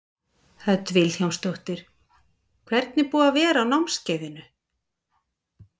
Hödd Vilhjálmsdóttir: Hvernig er búið að vera á námskeiðinu?